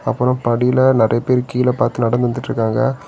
அப்புறம் படில நெறைய பேர் கீழ பாத்து நடந்து வந்துட்டுருக்காங்க.